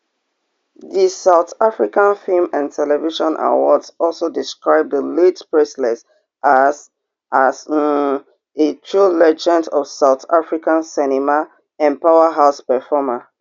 di south african film and television awards also describe di late presley as as um a true legend of south african cinema and a powerhouse performer